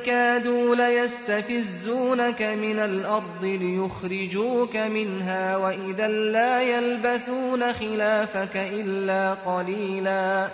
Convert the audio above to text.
كَادُوا لَيَسْتَفِزُّونَكَ مِنَ الْأَرْضِ لِيُخْرِجُوكَ مِنْهَا ۖ وَإِذًا لَّا يَلْبَثُونَ خِلَافَكَ إِلَّا قَلِيلًا